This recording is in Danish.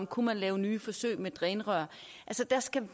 kunne lave nye forsøg med drænrør der skal